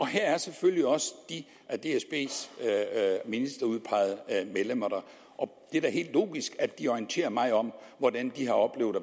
her er selvfølgelig også dsb’s ministerudpegede medlemmer der og det er da helt logisk at de orienterer mig om og hvordan de har oplevet